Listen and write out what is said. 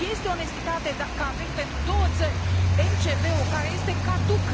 Este onestitate că avem pentru două țări MCV ul, care este caduc?